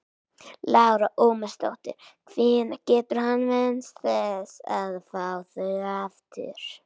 Lára Ómarsdóttir: Hvenær getur hann vænst þess að fá þau aftur?